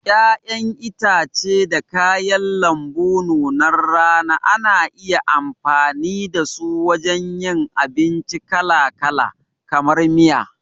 Ƴaƴan itace da kayan lambu nunar rana ana iya amfani dasu wajen yin abinci kalakala, kamar miya.